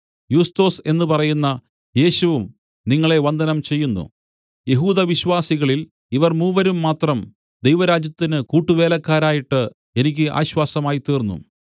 യുസ്തൊസ് എന്ന് പറയുന്ന യേശുവും നിങ്ങളെ വന്ദനം ചെയ്യുന്നു യഹൂദവിശ്വാസികളില്‍ ഇവർ മൂവരും മാത്രം ദൈവരാജ്യത്തിന് കൂട്ടുവേലക്കാരായിട്ട് എനിക്ക് ആശ്വാസമായിത്തീർന്നു